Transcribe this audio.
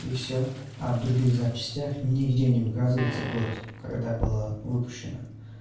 и всё а в других записях ни где не указывается год когда была выпущена